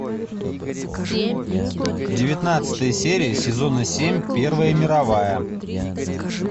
девятнадцатая серия сезона семь первая мировая